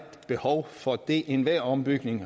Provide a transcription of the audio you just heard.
behov for det enhver ombygning